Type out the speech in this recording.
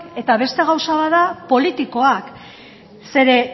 eta beste gauza bat da politikoak